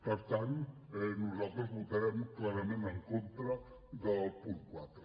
per tant nosaltres votarem clarament en contra del punt quatre